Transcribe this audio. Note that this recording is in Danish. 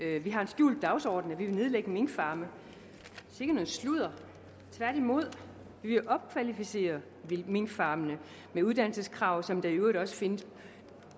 at vi har en skjult dagsorden nemlig at vi vil nedlægge minkfarme sikke noget sludder tværtimod vi vil opkvalificere minkfarmene med uddannelseskrav som der i øvrigt også findes